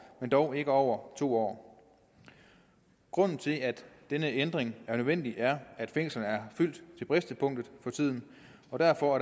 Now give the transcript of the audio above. men dog ikke over to år grunden til at denne ændring er nødvendig er at fængslerne er fyldt til bristepunktet og derfor